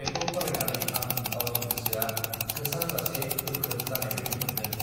बेखौ फरायनानै आं गावनि गोसोआ थोसारजासे गोख्रों जानायबादि मोनदों